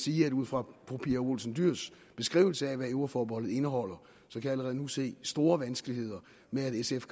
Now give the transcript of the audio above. jeg ud fra fru pia olsen dyhrs beskrivelse af hvad euroforbeholdet indeholder allerede nu se store vanskeligheder med at sf